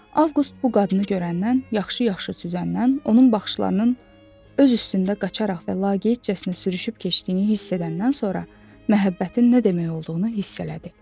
Avqust bu qadını görəndən, yaxşı-yaxşı süzəndən, onun baxışlarının öz üstündə qaçaraq və laqeydcəsinə sürüşüb keçdiyini hiss edəndən sonra məhəbbətin nə demək olduğunu hiss elədi.